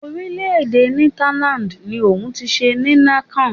Orílẹ̀-èdè Netherlands ni wọn ti ṣe Heineken.